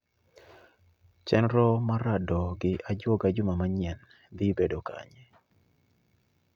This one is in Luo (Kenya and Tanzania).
Chenro mar rado gi ajuoga juma manyien dhi bedo kanye